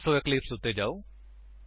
ਸੋ ਹੁਣ ਇਕਲਿਪਸ ਉੱਤੇ ਜਾਓ